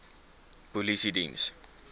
polisiediens